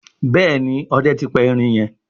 Béèni Òde tí pa erin yen.